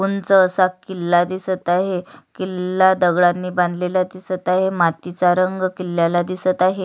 उंच असा किल्ला दिसत आहे किल्ला दगडानी बांधलेला दिसत आहे मातीचा रंग किल्ल्याला दिसत आहे.